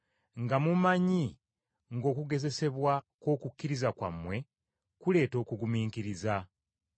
nga mumanyi ng’okugezesebwa kw’okukkiriza kwammwe kuleeta okugumiikiriza.